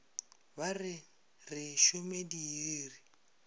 ba re re šome diiri